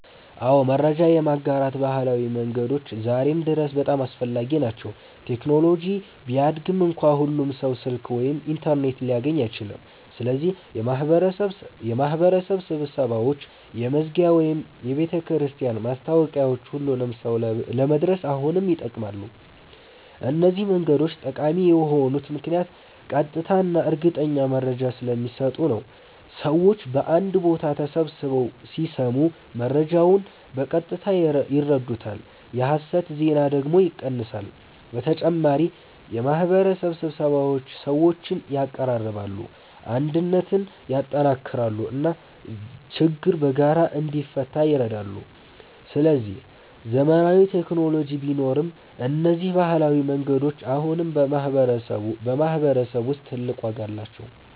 አዎ፣ መረጃ የማጋራት ባህላዊ መንገዶች ዛሬም ድረስ በጣም አስፈላጊ ናቸው። ቴክኖሎጂ ቢያድግም እንኳ ሁሉም ሰው ስልክ ወይም ኢንተርኔት ሊያገኝ አይችልም። ስለዚህ የማህበረሰብ ስብሰባዎች፣ የመስጊድ ወይም የቤተክርስቲያን ማስታወቂያዎች ሁሉንም ሰው ለመድረስ አሁንም ይጠቅማሉ። እነዚህ መንገዶች ጠቃሚ የሆኑት ምክንያት ቀጥታ እና እርግጠኛ መረጃ ስለሚሰጡ ነው። ሰዎች በአንድ ቦታ ተሰብስበው ሲሰሙ መረጃውን በቀጥታ ይረዱታል፣ የሐሰት ዜና ደግሞ ይቀንሳል። በተጨማሪ የማህበረሰብ ስብሰባዎች ሰዎችን ያቀራርባሉ፣ አንድነትን ያጠናክራሉ እና ችግር በጋራ እንዲፈታ ይረዳሉ። ስለዚህ ዘመናዊ ቴክኖሎጂ ቢኖርም እነዚህ ባህላዊ መንገዶች አሁንም በማህበረሰብ ውስጥ ትልቅ ዋጋ አላቸው።